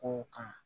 Kow kan